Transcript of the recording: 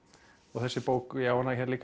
þessi bók ég á hana hér líka